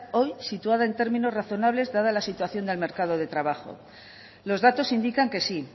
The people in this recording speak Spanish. hoy situada en términos razonables dada la situación del mercado de trabajo los datos indican que sí